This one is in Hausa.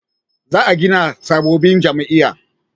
za a gina sabobbin jami'a